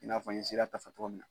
I n'a fɔ n ye sereya tafɔ tɔgɔ min na.